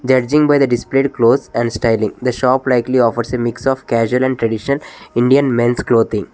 Judging by the displayed close and styling the shop likely offers a mix of casual and tradition indian men's clothing.